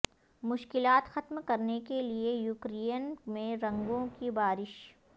مشکلات ختم کرنے کے لیے یوکرین میں رنگوں کی بارش